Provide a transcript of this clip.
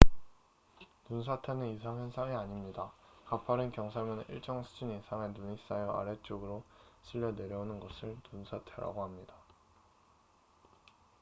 눈사태는 이상 현상이 아닙니다 가파른 경사면에 일정 수준 이상의 눈이 쌓여 아래쪽으로 쓸려 내려오는 것을 눈사태라고 합니다